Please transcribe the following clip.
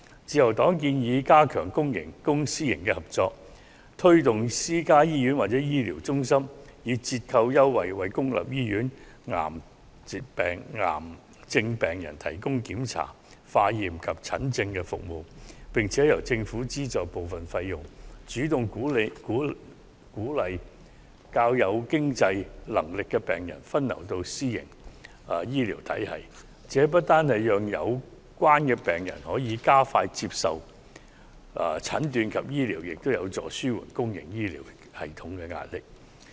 自由黨建議加強公私營合作，推動私家醫院或醫療中心透過折扣優惠，為公立醫院癌症病人提供檢查、化驗及診症服務，並由政府資助部分費用，主動鼓勵較有經濟能力的病人分流到私營醫療系統。這不單讓有關病人可加快接受診斷及治療，也有助紓緩公營醫療系統的壓力。